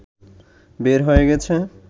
বের হয়ে গেছে